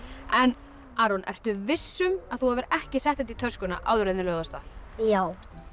en Aron ertu viss um að þú hafir ekki sett þetta í töskuna áður en þið lögðuð af stað já